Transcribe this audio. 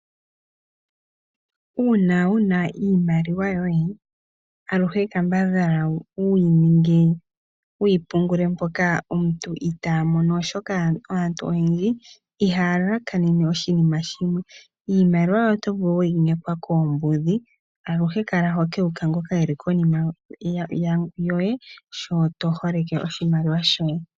Uuna wuna iimaliwa yoye, aluhe kambadhala wuyininge, wuyipungule mpoka omuntu itaamono oshoka aantu oyendji ihayalakanene oshinima shimwe. Iimaliwa yoye otovulu weyi nkekwa koombudhi aluhe kala hokewuka ngoka eli konima yoye sho toholeke oshimaliwa shoye.